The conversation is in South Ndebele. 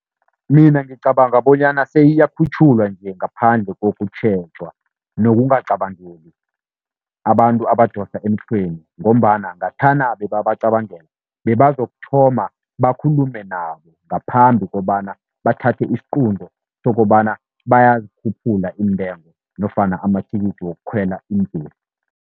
Mina ngicabanga bonyana seyiyakhutjhulwa nje, ngaphandle kokutjhejwa nokungacabangeli abantu abadosa emhlweni, ngombana ngathana bebabacabangela bebazokuthoma bakhulume nabo, ngaphambi kobana bathathe isiqunto sokobana bayazikhuphula iintengo, nofana amathikithi wokukhwela iimbhesi.